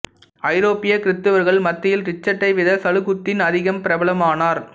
ஐரோப்பிய கிறித்தவர்கள் மத்தியில் ரிச்சர்ட்டை விட சலாகுத்தீன் அதிகம் பிரபலமானார்